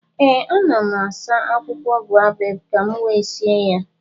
ee, ana m asa akwụkwọ boabab ka m wee sie ya